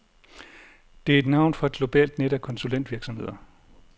Det er et navn for et globalt net af konsulentvirksomheder.